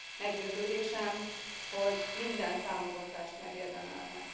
Meggyőződésem, hogy minden támogatást megérdemelnek.